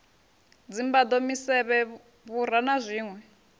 dzimbado misevhe vhura na zwinwe